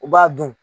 U b'a dun